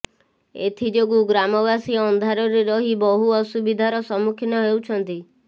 ଏଥିଯୋଗୁ ଗ୍ରାମବାସୀ ଅନ୍ଧାରରେ ରହି ବହୁ ଅସୁବିଧାର ସମ୍ମୁଖୀନ ହେଉଛନ୍ତି